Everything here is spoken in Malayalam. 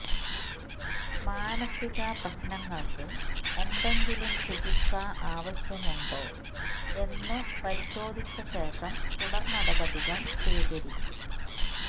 മാനസിക പ്രശ്നങ്ങൾക്ക് എന്തെങ്കിലും ചികിത്സ ആവശ്യമുണ്ടോ എന്നു പരിശോധിച്ചശേഷം തുടർനടപടികൾ സ്വീകരിക്കും